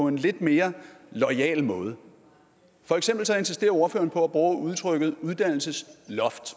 en lidt mere loyal måde for eksempel insisterer ordføreren på at bruge udtrykket uddannelsesloft